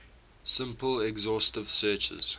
simple exhaustive searches